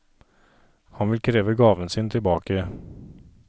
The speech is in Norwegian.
Han vil kreve gaven sin tilbake.